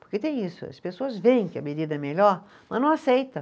Porque tem isso, as pessoas veem que a medida é melhor, mas não aceitam.